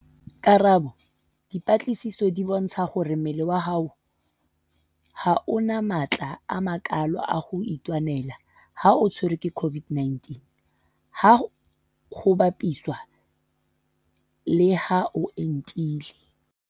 Karabo- Dipatlisiso di bontshitse hore mmele wa hao ha o na matla a makalo a ho itwanela ha o tshwerwe ke COVID-19 ha ho bapiswa le ha o entile.